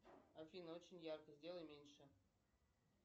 афина очень ярко сделай меньше